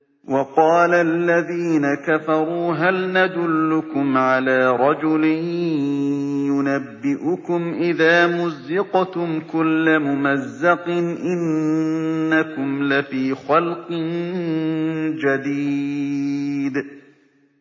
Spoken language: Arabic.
وَقَالَ الَّذِينَ كَفَرُوا هَلْ نَدُلُّكُمْ عَلَىٰ رَجُلٍ يُنَبِّئُكُمْ إِذَا مُزِّقْتُمْ كُلَّ مُمَزَّقٍ إِنَّكُمْ لَفِي خَلْقٍ جَدِيدٍ